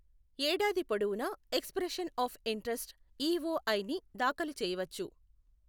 ఏడాది పొడవునా expression of interest EOI ని దాఖలు చేయవచ్చు.